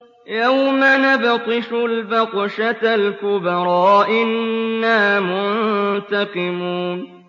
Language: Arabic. يَوْمَ نَبْطِشُ الْبَطْشَةَ الْكُبْرَىٰ إِنَّا مُنتَقِمُونَ